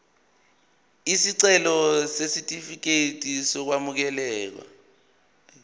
isicelo sesitifikedi sokwamukeleka